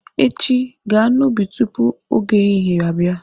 Echi, gaa n'ubi tupu oge ehihie abịa!